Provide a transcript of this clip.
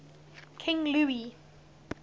king louis